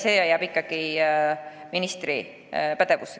See jääb ikkagi ministri pädevusse.